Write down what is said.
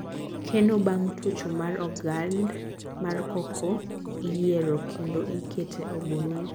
Keno bang tuocho mar ogand mar Cocoa iyiero kendo ikete ogunia